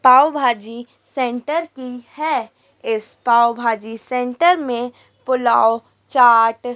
पाव bhaji centre की है इस पाव भाजी सेंटर में पुलाव चाट--